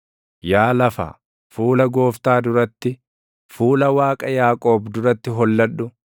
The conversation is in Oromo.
Yaa lafa, fuula Gooftaa duratti, fuula Waaqa Yaaqoob duratti holladhu;